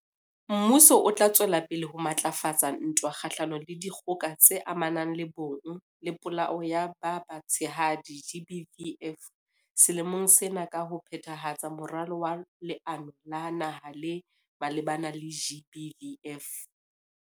Mmuso o tla tswela pele ho matlafatsa ntwa kgahlanong le Dikgoka tse Amanang le Bong le Polao ya ba Batshehadi, GBVF, selemong sena ka ho phethahatsa Moralo wa Leano la Naha le malebana le GBVF.